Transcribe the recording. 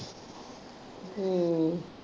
ਹਮ